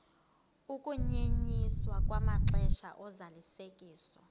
ukunyenyiswa kwamaxesha ozalisekiso